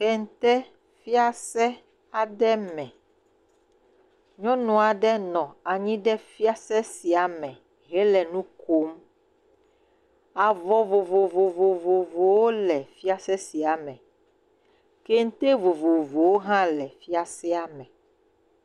Kente fiase aɖe me, nyɔnu aɖe nɔ anyi ɖe fiase sia me henɔ nu kom, avɔ vovovovovovowo le fiase sia me kente vovovovowo hã la fiasea me.